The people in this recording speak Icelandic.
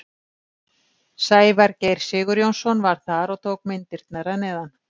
Sævar Geir Sigurjónsson var þar og tók myndirnar að neðan.